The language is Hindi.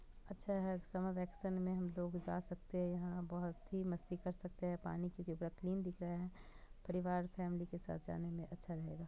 अच्छा है समर वेकेशन में हम लोग जा सकते है यहाँ बहुत ही मस्ती कर सकते है पानी की दिख रहा है परिवार फॅमिली के साथ जाने में अच्छा लग रहा है।